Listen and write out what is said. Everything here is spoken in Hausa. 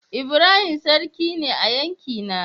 Ibrahim sarki ne a yankina.